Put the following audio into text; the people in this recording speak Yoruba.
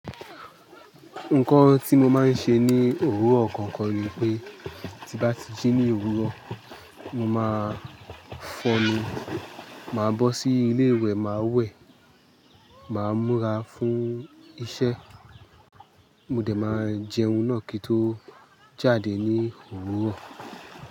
Nǹkan tí mo máa ń ṣe ní òwúrọ̀ kankan ni pé, tí bá ti jí ní òwúrọ̀, mo máa fọnu, màá bọ́ sí ilé wẹ̀, màá wẹ̀, màá múra fún iṣẹ́. Mo dè máa jẹun náà kí tó jáde ní òwúrọ̀